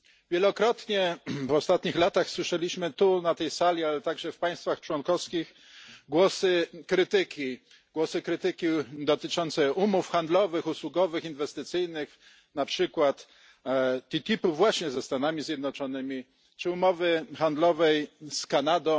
Wielokrotnie w ostatnich latach słyszeliśmy tu na tej sali, ale także w państwach członkowskich, głosy krytyki dotyczące umów handlowych, usługowych, inwestycyjnych, na przykład właśnie umowy TTIP ze Stanami Zjednoczonymi czy umowy handlowej CETA z Kanadą,